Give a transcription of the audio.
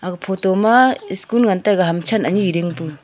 photo ma school ngan taega ham tshen anyi ding pu.